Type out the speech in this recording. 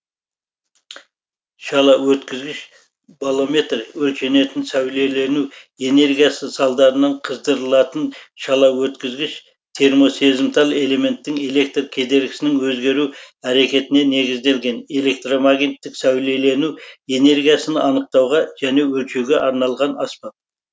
шалаөткізгіш болометр өлшенетін сәулелену энергиясы салдарынан қыздырылатын шалаөткізгіш термосезімтал элементтің электр кедергісінің өзгеру әрекетіне негізделген электромагниттік сәулелену энергиясын анықтауға және өлшеуге арналған аспап